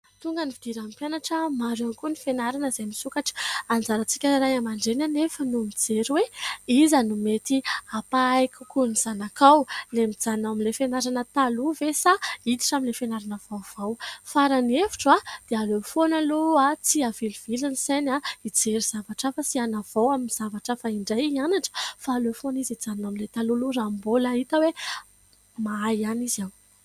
Tonga ny fidiran'ny mpianatra, maro ihany koa ny fianarana izay misokatra. Anjarantsika ray aman-dreny anefa no mijery hoe iza no mety hampahay kokoa ny zanakao : ny mijanona ao amin'ilay fianarana taloha ve, sa hiditra amin'ilay fianarana vaovao. Fa raha ny hevitro dia aleo foana aloha tsy avilivily ny sainy, hijery zavatra hafa sy hanavao amin'ny zavatra hafa indray, hianatra. Fa aleo foana izy hijanona ao amin'ilay taloha, aloha, raha mbola hita hoe mahay ihany izy ao.